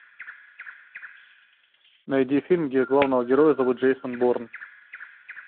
найди фильм где главного героя зовут джейсон борн